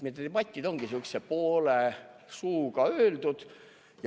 Need debatid ongi sihukese poole suuga öeldud.